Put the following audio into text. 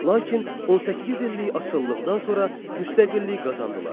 Lakin 18 illik asılılıqdan sonra müstəqillik qazandılar.